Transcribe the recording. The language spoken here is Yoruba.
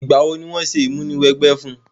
Ìgbà wo ni wo se ìmúniwẹgbẹ́ fun?